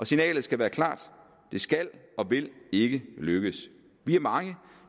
signalet skal være klart det skal og vil ikke lykkedes vi er mange